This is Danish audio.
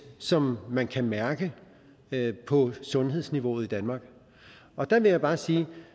som man kan mærke på sundhedsniveauet i danmark og der vil jeg bare sige